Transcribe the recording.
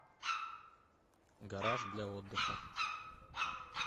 гараж для отдыха